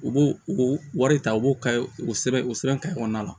U b'o o wari ta u b'o ka o sɛbɛn o sɛbɛn ka kɔnɔna la